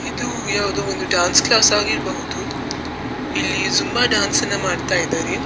ಇದು ಯಾವುದೋ ಒಂದು ಡಾನ್ಸ್‌ ಕ್ಲಾಸ್‌ ಆಗಿರ್ಬಹುದು. ಇಲ್ಲಿ ಜುಂಬಾ ಡಾನ್ಸನ್ನ ಮಾಡ್ತಾ ಇದ್ದಾರೆ.